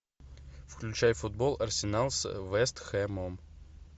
включай футбол арсенал с вест хэмом